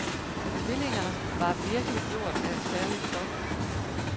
Tvillingerne var virkelig gjort af et særligt stof.